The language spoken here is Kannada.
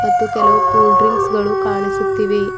ಮತ್ತು ಕೆಲವು ಕೂಲ್ ಡ್ರಿಂಕ್ಸ್ ಗಳು ಕಾಣಿಸುತ್ತಿವೆ.